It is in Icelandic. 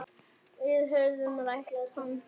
Við höfðum rætt hann.